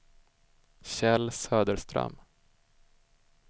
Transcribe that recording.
Kjell Söderström